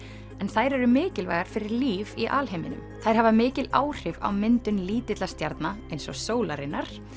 en þær eru mikilvægar fyrir líf í alheiminum þær hafa mikil áhrif á myndun lítilla stjarna eins og sólarinnar